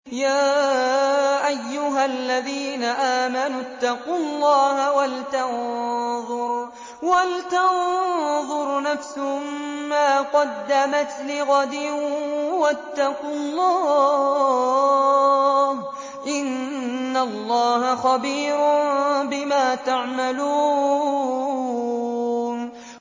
يَا أَيُّهَا الَّذِينَ آمَنُوا اتَّقُوا اللَّهَ وَلْتَنظُرْ نَفْسٌ مَّا قَدَّمَتْ لِغَدٍ ۖ وَاتَّقُوا اللَّهَ ۚ إِنَّ اللَّهَ خَبِيرٌ بِمَا تَعْمَلُونَ